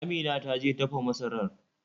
Amina ta je dafa masarar.